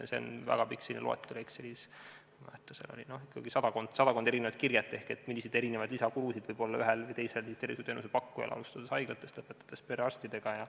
See on väga pikk loetelu Exceli tabelis – ma ei mäleta täpselt, aga seal oli ikkagi sadakond erinevat, milliseid lisakulusid võib olla ühel või teisel tervishoiuteenuse pakkujal, alustades haiglatest ja lõpetades perearstidega.